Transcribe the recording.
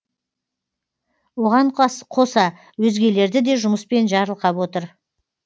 оған қоса өзгелерді де жұмыспен жарылқап отыр